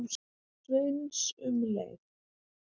Sveins um leið.